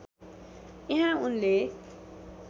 यहाँ उनले